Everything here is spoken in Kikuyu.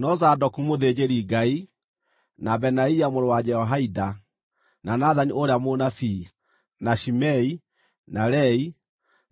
No Zadoku mũthĩnjĩri-Ngai, na Benaia mũrũ wa Jehoiada, na Nathani ũrĩa mũnabii, na Shimei, na Rei,